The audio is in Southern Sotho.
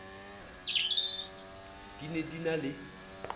di ne di na le